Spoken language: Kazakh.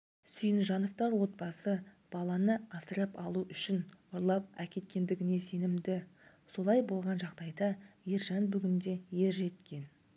сүйінжановтар отбасы баланы асырап алу үшін ұрлап әкеткендігіне сенімді солай болған жағдайда ержан бүгінде ер жеткен